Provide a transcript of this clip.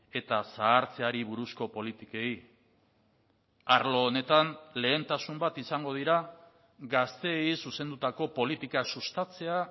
eta zahartzeari buruzko politikei arlo honetan lehentasun bat izango dira gazteei zuzendutako politika sustatzea